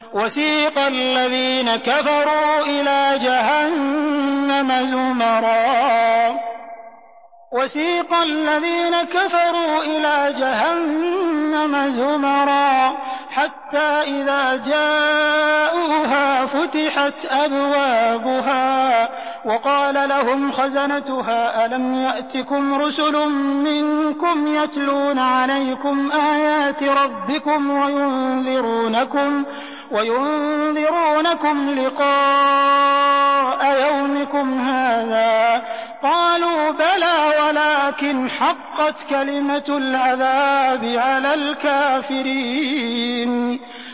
وَسِيقَ الَّذِينَ كَفَرُوا إِلَىٰ جَهَنَّمَ زُمَرًا ۖ حَتَّىٰ إِذَا جَاءُوهَا فُتِحَتْ أَبْوَابُهَا وَقَالَ لَهُمْ خَزَنَتُهَا أَلَمْ يَأْتِكُمْ رُسُلٌ مِّنكُمْ يَتْلُونَ عَلَيْكُمْ آيَاتِ رَبِّكُمْ وَيُنذِرُونَكُمْ لِقَاءَ يَوْمِكُمْ هَٰذَا ۚ قَالُوا بَلَىٰ وَلَٰكِنْ حَقَّتْ كَلِمَةُ الْعَذَابِ عَلَى الْكَافِرِينَ